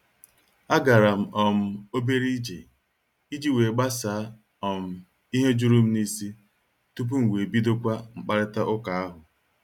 A garam um obere ije iji wee gbasaa um ihe jụrụ m n'isi tupu m wee bidokwa mkparita ụka ahụ.